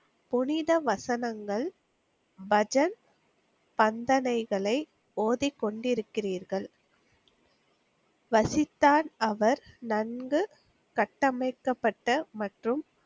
புனித வசனங்கள், பஜன், பந்தனைகளை ஓதிக்கொண்டிருக்கிறீர்கள். வசித்தார் அவர் நன்கு கட்டமைக்கப்பட்ட மற்றும்,